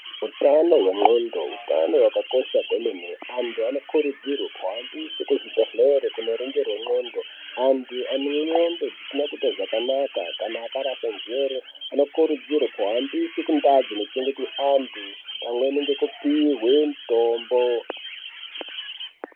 Utano hwendxondo utano hwakakosha kwemwene, antu anokurudzirwe kuendeswe kuzvibhedhlera kuoningirwe ndxondo. Antu ane ndxondo dzisina kuita zvakanaka kana akarasa njere anokurudzirwe kuendeswe kundau dzinochengetwe antu pamweni ngekupihwe mitombo.